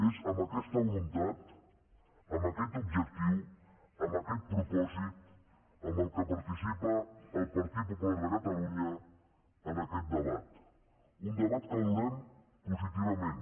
és amb aquesta voluntat amb aquest objectiu amb aquest propòsit amb què participa el partit popular de catalunya en aquest debat un debat que valorem positivament